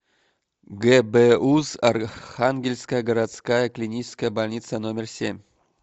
гбуз архангельская городская клиническая больница номер семь